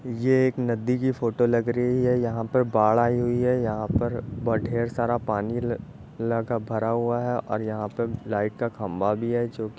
ये एक नदी की फोटो लग रही है। यहाँ पर बाढ़ आई हुई है। यहाँ पर ब ढ़ेर सारा पानी ल लगा भरा हुआ है और यहां पे लाइट का खंबा भी है जो कि --